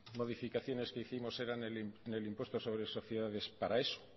modificaciones que hicimos eran del impuesto sobre sociedades